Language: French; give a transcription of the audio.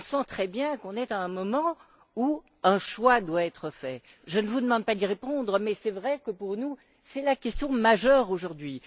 On sent très bien qu'on est à un moment où un choix doit être fait. Je ne vous demande pas d'y répondre, mais c'est vrai que, pour nous, c'est la question majeure aujourd'hui.